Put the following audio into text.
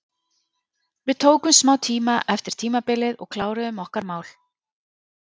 Við tókum smá tíma eftir tímabilið og kláruðum okkar mál.